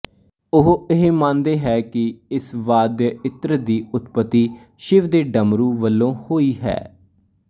ਉਹ ਇਹ ਮੰਣਦੇ ਹੈ ਕਿ ਇਸ ਵਾਦਿਅਇੰਤਰ ਦੀ ਉਤਪਤੀ ਸ਼ਿਵ ਦੇ ਡਮਰੂ ਵਲੋਂ ਹੋਈ ਹੈ